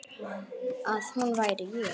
Að hún væri ég.